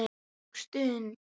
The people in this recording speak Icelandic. Og sund.